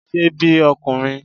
Ṣe bí ọkùnrin!